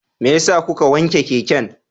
Me yasa kuka wanke keken?